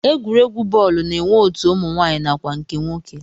Egwuregwu bọọlụ na-enwe otu ụmụnwaanyị nakwa nke nwoke